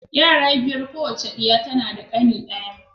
Yara biyar. Kowace diya tana da ƙane ɗaya.